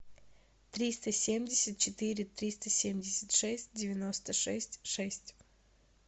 триста семьдесят четыре триста семьдесят шесть девяносто шесть шесть